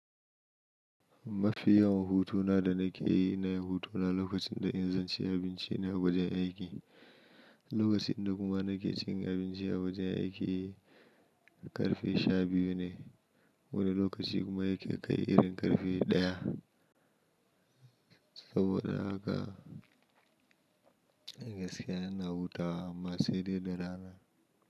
Mafi yawan hutuna da na ke yi na hutuna lokacin da in zanci abinci ne a wajen aiki. Lokacin da kuma na ke cin abinci a wajen aiki ƙarfe sha biyu ne. Wani lokaci kuma yake kai irin ƙarfe ɗaya. Saboda haka gaskiya yana hutawa amma sai dai da rana.